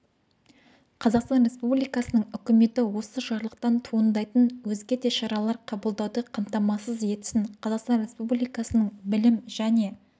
қазақстан республикасының үкіметі осы жарлықтан туындайтын өзге де шаралар қабылдауды қамтамасыз етсін қазақстан республикасының білім және